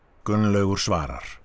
Gunnlaugur svarar